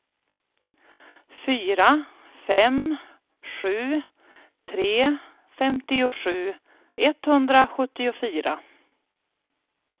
fyra fem sju tre femtiosju etthundrasjuttiofyra